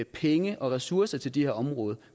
penge og ressourcer til det her område